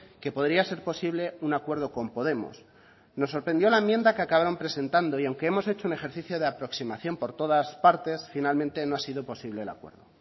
que podría ser posible un acuerdo con podemos nos sorprendió la enmienda que acabaron presentando y aunque hemos hecho un ejercicio de aproximación por todas partes finalmente no ha sido posible el acuerdo